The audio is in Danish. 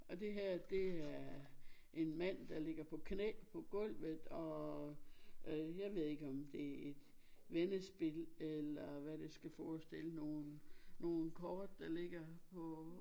Og det her det er en mand der ligger på knæ på gulvet og jeg ved ikke om det et vendespil eller hvad det skal forestille nogen nogen kort der ligger på